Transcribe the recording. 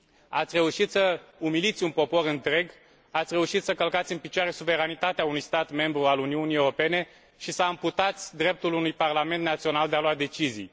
Ați reușit să umiliți un popor întreg, ați reușit să călcați în picioare suveranitatea unui stat membru al Uniunii Europene și să amputați dreptul unui parlament național de a lua decizii.